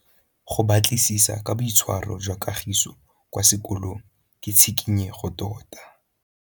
Go batlisisa ka boitshwaro jwa Kagiso kwa sekolong ke tshikinyêgô tota.